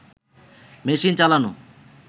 machine চালানো